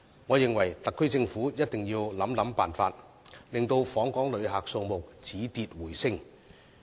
我認為，特區政府一定要想辦法，令訪港旅客數字止跌回升。